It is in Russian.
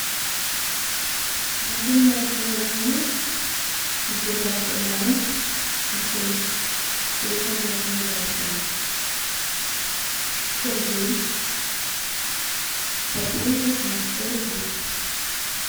мобильное приложение сбербанк онлайн открыть телефонная книга открыть сергей пополнить на сто рублей